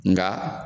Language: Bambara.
Nga